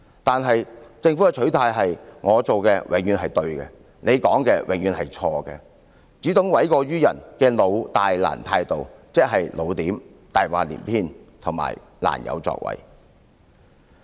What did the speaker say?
可是政府的取態是"我做的永遠是對的，你說的永遠是錯的"，只懂諉過於人的"老、大、難"態度，即"老點"、"大話連篇"和"難有作為"。